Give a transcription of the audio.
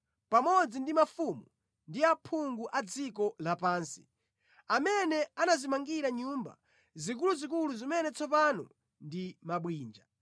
pamodzi ndi mafumu ndi aphungu a dziko lapansi, amene anadzimangira nyumba zikuluzikulu zimene tsopano ndi mabwinja,